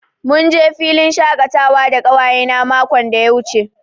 Mun je filin shakatawa da ƙawayena makon da ya wuce.